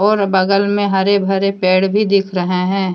और बगल में हरे भरे पेड़ भी दिख रहे हैं।